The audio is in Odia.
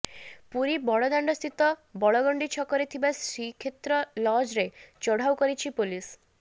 ପୁରୀ ବଡ ଦାଣ୍ଡସ୍ଥିତ ବଳଗଣ୍ଡି ଛକରେ ଥିବା ଶ୍ରୀକ୍ଷେତ୍ର ଲଜ୍ରେ ଚଢ଼ାଉ କରିଛି ପୋଲିସ